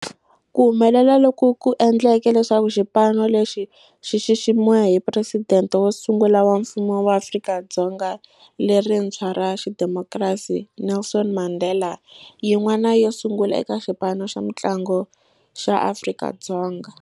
Ku humelela loku ku endle leswaku xipano lexi xi xiximiwa hi Presidente wo sungula wa Mfumo wa Afrika-Dzonga lerintshwa ra xidemokirasi, Nelson Mandela, yin'wana yo sungula eka xipano xa mintlangu xa Afrika-Dzonga.